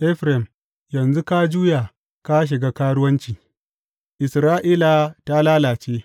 Efraim, yanzu ka juya ka shiga karuwanci; Isra’ila ta lalace.